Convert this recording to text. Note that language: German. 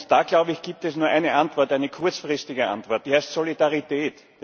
Da, glaube ich, gibt es nur eine Antwort, eine kurzfristige Antwort, die heißt Solidarität.